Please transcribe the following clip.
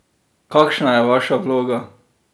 Kakšna je vaša vloga?